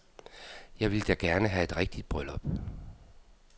Jeg ville da gerne have et rigtigt bryllup.